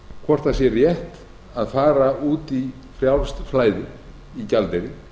hvort það sé rétt að fara út í frjálst flæði í gjaldeyri